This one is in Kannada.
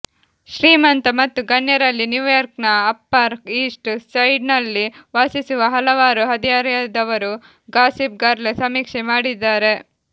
ಶ್ರೀಮಂತ ಮತ್ತು ಗಣ್ಯರಲ್ಲಿ ನ್ಯೂಯಾರ್ಕ್ನ ಅಪ್ಪರ್ ಈಸ್ಟ್ ಸೈಡ್ನಲ್ಲಿ ವಾಸಿಸುವ ಹಲವಾರು ಹದಿಹರೆಯದವರು ಗಾಸಿಪ್ ಗರ್ಲ್ ಸಮೀಕ್ಷೆ ಮಾಡಿದ್ದಾರೆ